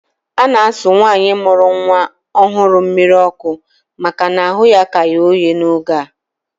A na-asụ nwaanyị mụrụ nnwa ọhụrụ mmiri ọkụ maka na ahụ ya ka ghe oghe n'oge a